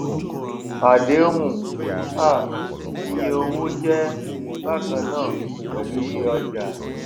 àdéhùn um iye owó jé bákan náà pèlú iyé ọjà